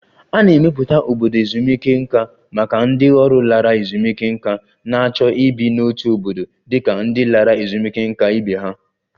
A na-emepụta obodo ezumike nká maka ndị ọrụ lara ezumike nká na-achọ ibi n'otu obodo dị ka ndị lara ezumike nká ibe ha